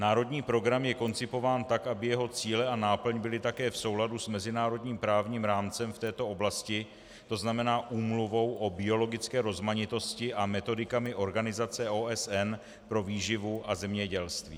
Národní program je koncipován tak, aby jeho cíle a náplň byly také v souladu s mezinárodním právním rámcem v této oblasti, to znamená Úmluvou o biologické rozmanitosti a metodikami organizace OSN pro výživu a zemědělství.